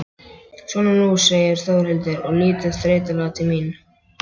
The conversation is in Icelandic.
Svona nú, segir Þórhildur og lítur þreytulega til mín.